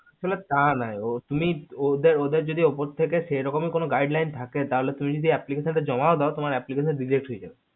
টা কি ওদের যদি উপর থেকে যেরকম ই gridet থাকে তাহলে তুমি যদি application টা জমাও দেও তোমার application dejet হয়ে যাবে